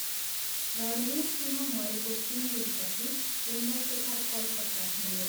रणवीरसिंह मरेको तीन दिनपछि इन्द्रशेखर कलकत्ता हिंड्यो।